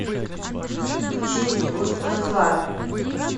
включи устозлар